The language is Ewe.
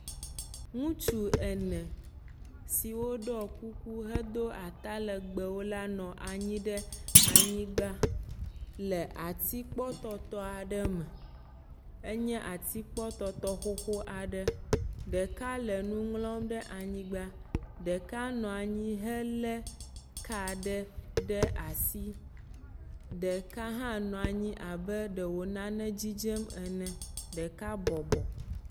Ŋutsu ene siwo ɖɔ kuku hedo atalegbewo la nɔ anyi ɖe anyigba le atikpɔtɔtɔ aɖe me, enye atikpɔtɔtɔ xoxo aɖe, ɖeka le nu ŋlɔm ɖe anyigba, ɖeka nɔ anyi helé ka aɖe ɖe asi, ɖeka hã nɔ anyi abe ɖe wò nane dzidzem ene, ɖeka bɔbɔ.